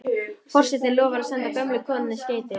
Forsetinn lofar að senda gömlu konunni skeyti.